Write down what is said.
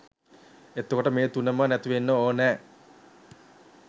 එතකොට මේ තුනම නැතිවෙන්න ඕන